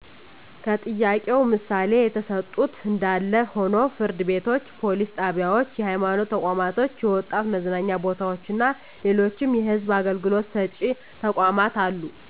ከጥያቄው ምሣሌ የተሠጡት እንዳለ ሆኖ ፍርድ ቤቶች፣ ፓሊስ ጣቢያዎች፣ የሐይማኖት ተቋማቶች፣ የወጣት መዝናኛ ቦታዎችና ሌሎችም የሕዝብ አገልግሎት ሰጭ ተቋማት አሉ።